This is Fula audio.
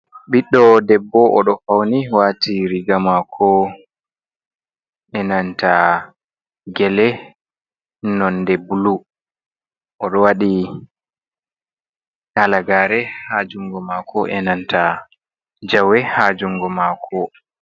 ɓiɗdo debbo oɗo fauni wati riga mako e'nanta gele nonde bulu. Oɗo waɗi halagare ha jungo mako e'nanta jawe ha jungo mako.